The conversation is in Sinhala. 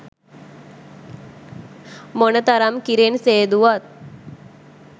මොනතරම් කිරෙන් සේදුවත්